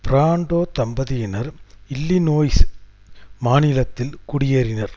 Brando தம்பதியினர் Illinois மாநிலத்தில் குடியேறினர்